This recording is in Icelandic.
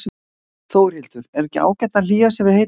Þórhildur: Er ekki ágætt að hlýja sér við heita kjötsúpu?